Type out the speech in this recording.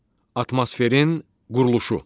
Atmosferin quruluşu.